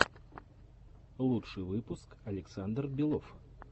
лучший выпуск александр белов